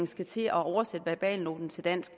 skal til at oversætte verbalnoten til dansk